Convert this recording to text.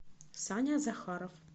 саня захаров